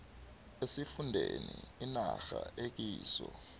esifundeni inarha ekiso